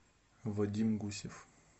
вадим гусев